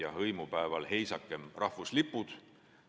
Ja hõimupäeval heisake rahvuslipud.